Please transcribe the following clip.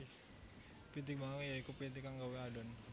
Pitik Bangkok ya iku pitik kang gawé adhon